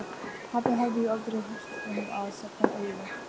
Pabbi hafði jú aldrei hirt um að safna auði.